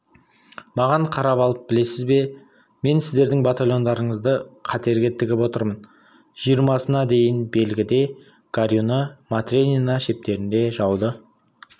маған қарап алып білесіз бе мен сіздердің батальондарыңызды қатерге тігіп отырмын жиырмасына дейін белгіде горюны матренино шептерінде жауды